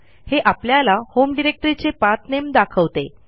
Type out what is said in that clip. हे आपल्याला होम डिरेक्टरीचे पाठ नामे दाखवते